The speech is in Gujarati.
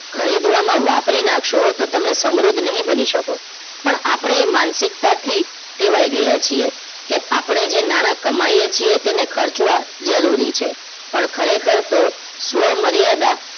ખરીદવામાં વાપરી નાખશો તો તમે સમૃદ્ધ નહિ બની શકો પણ આપણે એ માનસિકતાથી ટેવાઈ ગયા છે કે આપણે જે નાણાં કમાઈ કે એને ખર્ચવા જરૂરી છે પણ ખરેખર તો સ્વ મર્યાદા